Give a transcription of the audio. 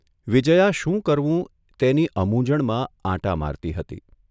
વિજયા શું કરવું તેની અમૂંઝણમાં આંટા મારતી હતી.